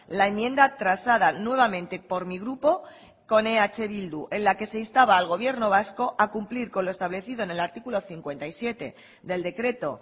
la enmienda transada nuevamente por mi grupo con eh bildu en la que se instaba al gobierno vasco a cumplir con lo establecido en el artículo cincuenta y siete del decreto